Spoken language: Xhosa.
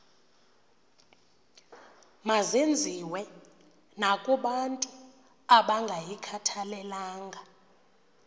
mazenziwe nakobantu abangayikhathalelanga